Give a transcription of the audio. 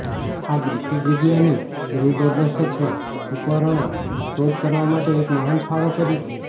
આ બ્રિટિશ વિજ્ઞાની બૃહદદર્શક ઉપકરણો શોધ કરવા માટે એક મહાન ફાળો કરી છે